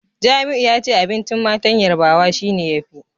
Jamiu yace abincin matan Yarbawa shine yafi